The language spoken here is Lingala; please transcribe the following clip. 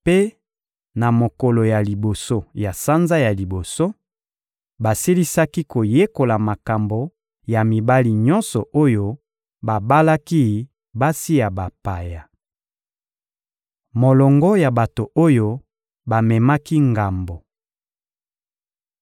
Mpe, na mokolo ya liboso ya sanza ya liboso, basilisaki koyekola makambo ya mibali nyonso oyo babalaki basi ya bapaya. Molongo ya bato oyo bamemaki ngambo